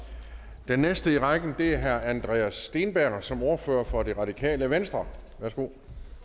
den næste i rækken er herre andreas steenberg som ordfører for det radikale venstre værsgo